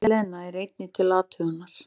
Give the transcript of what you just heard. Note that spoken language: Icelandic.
Selen er einnig til athugunar.